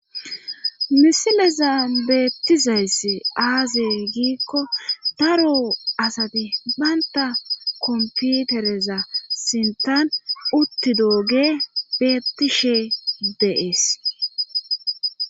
Misileza beettizayssi aazey giikko daro asati banta komputereza sinthan uttidooge bettishe deees.